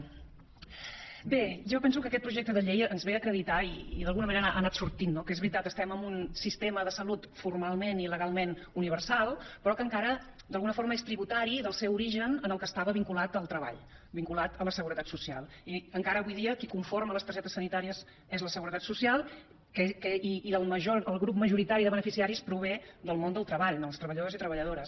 bé jo penso que aquest projecte de llei ens ve a acreditar i d’alguna manera ha anat sortint no que és veritat estem en un sistema de salut formalment i legalment universal però que encara d’alguna forma és tributari del seu origen en què estava vinculat al treball vinculat a la seguretat social i encara avui dia qui conforma les targetes sanitàries és la seguretat social i el grup majoritari de beneficiaris prové del món del treball dels treballadors i treballadores